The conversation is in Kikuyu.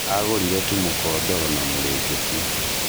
Agũrire tu mũkondoro na mũrĩngĩti.